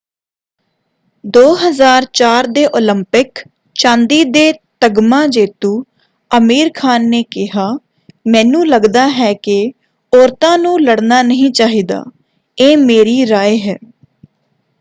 2004 ਦੇ ਓਲੰਪਿਕ ਚਾਂਦੀ ਦੇ ਤਗਮਾ ਜੇਤੂ ਅਮੀਰ ਖਾਨ ਨੇ ਕਿਹਾ ਮੈਨੂੰ ਲੱਗਦਾ ਹੈ ਕਿ ਔਰਤਾਂ ਨੂੰ ਲੜਨਾ ਨਹੀਂ ਚਾਹੀਦਾ। ਇਹ ਮੇਰੀ ਰਾਇ ਹੈ।